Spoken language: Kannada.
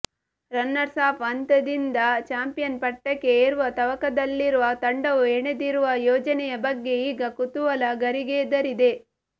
ರನ್ನರ್ಸ್ ಅಪ್ ಹಂತದಿಂದ ಚಾಂಪಿಯನ್ ಪಟ್ಟಕ್ಕೆ ಏರುವ ತವಕದಲ್ಲಿರುವ ತಂಡವು ಹೆಣೆದಿರುವ ಯೋಜನೆಯ ಬಗ್ಗೆ ಈಗ ಕುತೂಹಲ ಗರಿಗೆದರಿದೆ